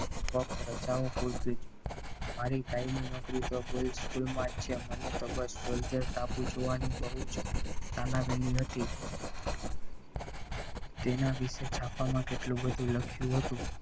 રજાઓ પૂરતી જ મારી કાયમી નોકરી તો school માં જ છે મને તો Soldier ટાપુ જોવાની બહુ જ તાલવેલી હત તેના વિશે છાપામાં કેટલું બધું લખ્યું હતું.